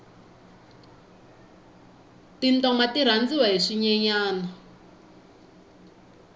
tintoma ti rhandziwa hi swinyenyani